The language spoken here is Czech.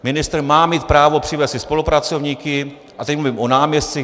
Ministr má mít právo přivést si spolupracovníky - a teď mluvím o náměstcích.